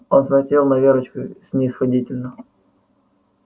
он смотрел на верочку снисходительно